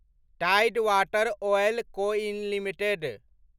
Tide water oil co इन limited